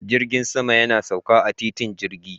Jirgin sama yana sauka a titin jirgi